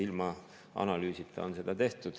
Seda on tehtud ilma analüüsita.